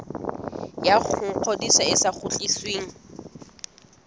ya ngodiso e sa kgutlisweng